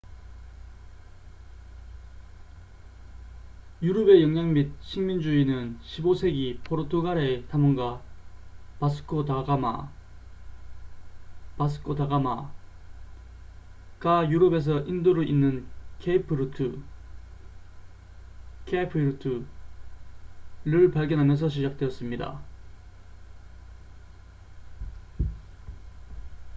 유럽의 영향 및 식민주의는 15세기 포르투갈의 탐험가 바스코 다 가마vasco da gama가 유럽에서 인도를 잇는 케이프 루트cape route를 발견하면서 시작되었습니다